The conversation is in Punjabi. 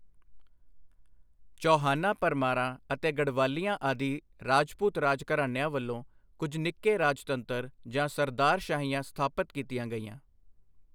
ਚੌਹਾਨਾਂ ਪਰਮਾਰਾਂ ਅਤੇ ਗਡਵਾਲਿਆਂ ਆਦਿ ਰਾਜਪੂਤ ਰਾਜ ਘਰਾਣਿਆਂ ਵੱਲੋਂ ਕੁੱਝ ਨਿੱਕੇ ਰਾਜਤੰਤਰ ਜਾਂ ਸਰਦਾਰਸ਼ਾਹੀਆਂ ਸਥਾਪਤ ਕੀਤੀਆਂ ਗਈਆਂ।